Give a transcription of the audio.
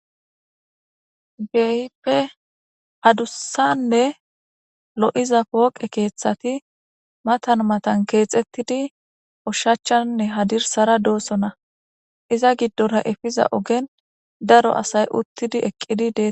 Keehippe addussanne lo'iza poqqe keththatti maatan maatan kexxetiddi ushshachaninne hadirssara dosonna. Iza giddora iffiza oggen daro asay uttidi eqqidi de'ettes.